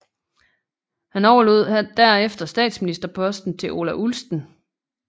Han overlod derefter statsministerposten til Ola Ullsten